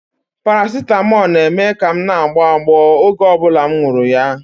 Paracetamol na-eme ka m na-agbọ agbọ oge ọ bụla m nwuru ya